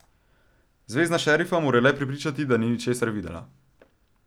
Zvezna šerifa mora le prepričati, da ni ničesar videla.